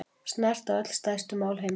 Snerta öll stærstu mál heimsins